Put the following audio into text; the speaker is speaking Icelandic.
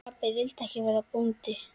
Pabbi vildi ekki verða bóndi.